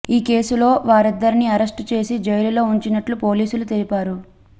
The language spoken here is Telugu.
ఈ కేసులో వారిద్దరిని అరెస్టు చేసి జైలులో ఉంచినట్లు పోలీసులు తెలిపారు